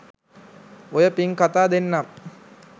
ඔය පිං කතා දෙන්නම්